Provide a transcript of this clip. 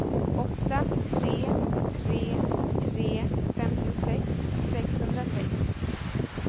åtta tre tre tre femtiosex sexhundrasex